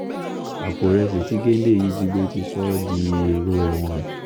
àpò ìrẹsì tí géńdé yìí jí gbé ti sọ ọ́ dèrò ẹ̀wọ̀n